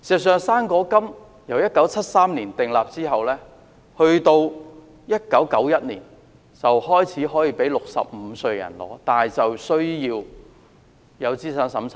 "生果金"自1973年訂立後，直至1991年開始讓65歲人士領取，但需要資產審查。